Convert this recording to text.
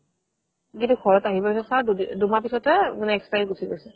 যেতিয়া ঘৰত আহি পেলে চাও দুমাহ পিছ্তে মানে expiry গুছি গৈছে